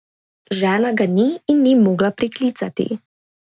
Žena ga ni in ni mogla priklicati.